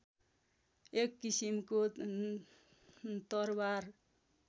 एक किसिमको तरवार